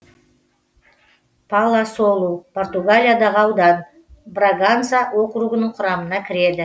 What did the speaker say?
паласолу португалиядағы аудан браганса округінің құрамына кіреді